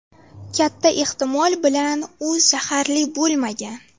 Katta ehtimol bilan u zaharli bo‘lmagan.